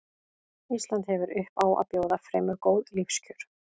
Ísland hefur upp á að bjóða fremur góð lífskjör.